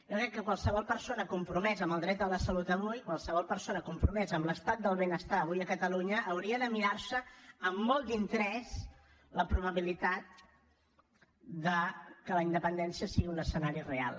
jo crec que qualsevol persona compromesa en el dret a la salut avui qualsevol persona compromesa en l’estat del benestar avui a catalunya hauria de mirar se amb molt d’interès la probabilitat que la independència sigui un escenari real